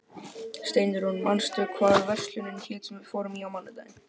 Steinrún, manstu hvað verslunin hét sem við fórum í á mánudaginn?